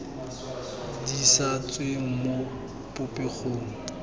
di sa tsweng mo popegong